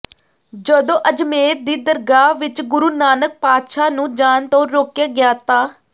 ਜਦੋਂ ਅਜਮੇਰ ਦੀ ਦਰਗਾਹ ਵਿੱਚ ਗੁਰੂ ਨਾਨਕ ਪਾਤਸ਼ਾਹ ਨੂੰ ਜਾਣ ਤੋਂ ਰੋਕਿਆ ਗਿਆ ਤਾਂ